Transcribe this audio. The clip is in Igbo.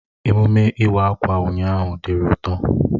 Emume Iwa akwa ụnyaahụ diri ụtọ.